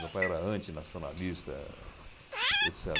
Meu pai era antinacionalista, et